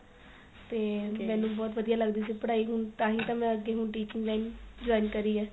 ਤੇ ਮੇਨੂੰ ਬਹੁਤ ਵਧੀਆ ਲੱਗਦੀ ਸੀ ਪੜਾਈ ਤਾਹੀ ਤਾਂ ਮੈਂ ਅਗੇ ਹੁਣ teaching line join ਕਰੀ ਏ